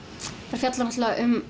fjalla náttúrulega um